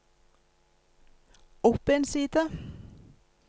opp en side